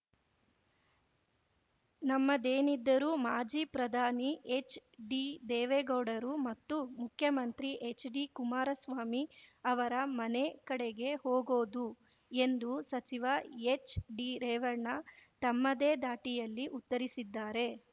ನಮ್ಮದೇನಿದ್ದರೂ ಮಾಜಿ ಪ್ರಧಾನಿ ಎಚ್‌ಡಿದೇವೇಗೌಡರು ಮತ್ತು ಮುಖ್ಯಮಂತ್ರಿ ಎಚ್‌ಡಿಕುಮಾರಸ್ವಾಮಿ ಅವರ ಮನೆ ಕಡೆಗೆ ಹೋಗೋದು ಎಂದು ಸಚಿವ ಎಚ್‌ಡಿರೇವಣ್ಣ ತಮ್ಮದೇ ದಾಟಿಯಲ್ಲಿ ಉತ್ತರಿಸಿದ್ದಾರೆ